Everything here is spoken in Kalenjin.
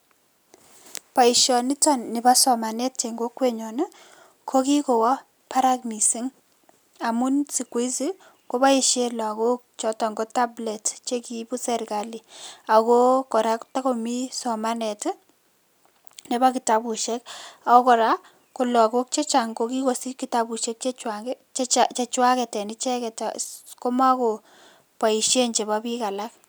boishonito nipo somanet en kokwenyon kokikowo barak missing amun sikuhizi koboishen lagok choton ko taplets che kiibu serkali ako kora kotokomi somanet ii nepo kitabushek oo korak ko lagok chechang ko kikosich kitabushek chejwak en icheget ko mokoboishen chepo biik alak